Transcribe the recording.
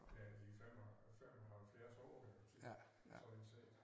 Ja i 5 og 75 år sådan set